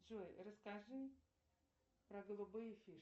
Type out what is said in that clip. джой расскажи про голубые фишки